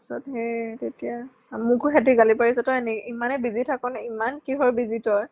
তাৰপিছত সেই তেতিয়া মোকো সিহঁতে গালি পাৰিছে । তই ইমানেই busy থাক নি ? ইমান কিহৰ busy তই ?